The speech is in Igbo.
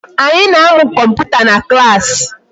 Anyị na-amụ kọmputa na class.